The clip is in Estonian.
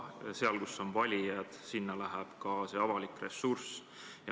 Sinna, kus on valijad, läheb ka avalik ressurss.